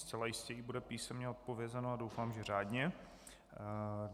Zcela jistě jí bude písemně odpovězeno a doufám, že řádně.